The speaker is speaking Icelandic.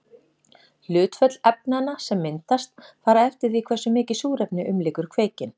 Hlutföll efnanna sem myndast fara eftir því hversu mikið súrefni umlykur kveikinn.